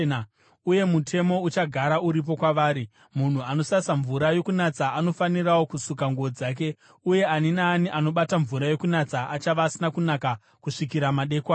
Uyu mutemo uchagara uripo kwavari. “Munhu anosasa mvura yokunatsa anofanirawo kusuka nguo dzake, uye ani naani anobata mvura yokunatsa achava asina kunaka kusvikira madekwana.